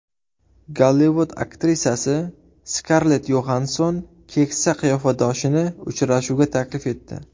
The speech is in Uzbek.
Gollivud aktrisasi Skarlett Yoxansson keksa qiyofadoshini uchrashuvga taklif etdi.